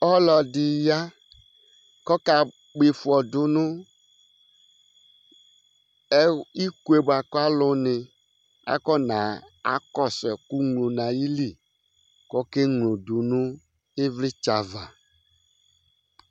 Ɔlɔdi ya ku ɔka kpɔ ifɔ du nʋ iko bʋakʋ alu ni afɔna kɔsu ɛku nylo nʋ ayìlí kʋ ɔke nylo du nʋ ivlitsɛ ava